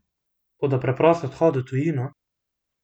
Toda preprost odhod v trgovino?